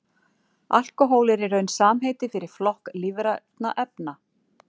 Alkóhól er í raun samheiti fyrir flokk lífrænna efna.